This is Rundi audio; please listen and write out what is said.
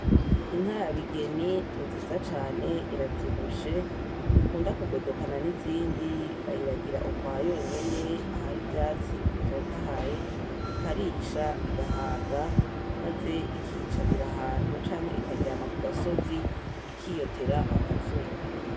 Inka ya bigeni ninziza cane iravyibushe ntikunda kugodokana nizindi bayiragira ukwayonyene ahari ivayatsi bitotahaye, ikarisha igahaga maze ikiyicarira ahantu canke ikaryama kugasozi ikiyotera akazuba.